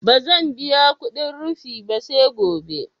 Ba zan biya kudin rufi ba, sai gobe